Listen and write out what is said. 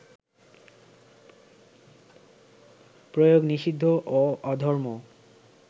প্রয়োগ নিষিদ্ধ ও অধর্ম